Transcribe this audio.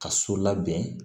Ka so labɛn